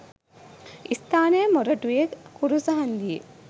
ස්ථානය මොරටුවේ කුරුස හංදියේ